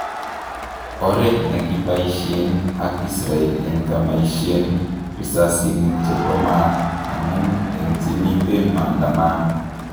Oret nekokipaishen ak Israel en kemaishen risasinik chepo mat amun en chemiten maandamano